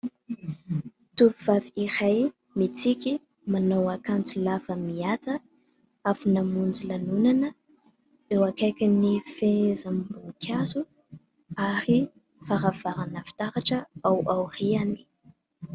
Tovovavy iray mitsiky, manao akanjo lava, mety avy namonjy lanonana ; eo akaikin'ny fehezam-boninkazo, ary varavarana fitaratra ao aoriany.